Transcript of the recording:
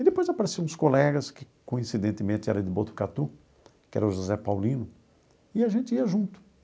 E depois apareciam uns colegas que, coincidentemente, era de Botucatu, que era o José Paulino, e a gente ia junto.